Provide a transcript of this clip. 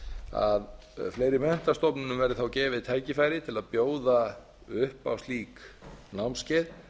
að fleiri menntastofnunum verði gefið tækifæri til að bjóða upp á slík námskeið